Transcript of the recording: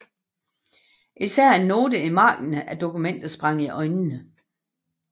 Især en note i marginen af dokumentet sprang i øjnene